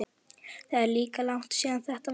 Það er líka langt síðan þetta var.